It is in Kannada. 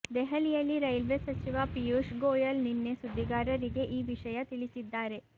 ದೆಹಲಿಯಲ್ಲಿ ರೈಲ್ವೆ ಸಚಿವ ಪಿಯೂಷ್ ಗೋಯಲ್ ನಿನ್ನೆ ಸುದ್ದಿಗಾರರಿಗೆ ಈ ವಿಷಯ ತಿಳಿಸಿದ್ಧಾರೆ